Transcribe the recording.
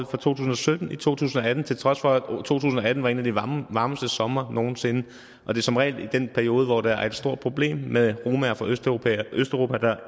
tusind og sytten i to tusind og atten til trods for at to tusind og atten var en af de varmeste somre nogen sinde og det som regel er i den periode hvor der er et stort problem med romaer fra østeuropa der